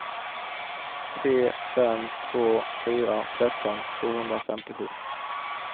tre fem två fyra tretton tvåhundrafemtiosju